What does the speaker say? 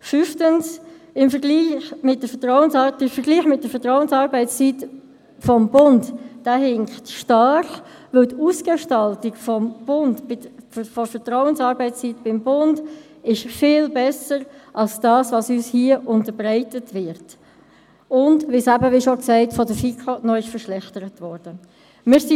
Fünftens hinkt der Vergleich mit der Vertrauensarbeitszeit des Bundes stark, weil die Ausgestaltung der Vertrauensarbeitszeit beim Bund viel besser ist als das, was uns hier unterbreitet wird und es, wie gesagt, von der FiKo noch verschlechtert worden ist.